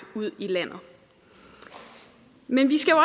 ud i landet men vi skal jo